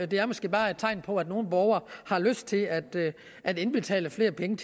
det er måske bare et tegn på at nogle borgere har lyst til at at indbetale flere penge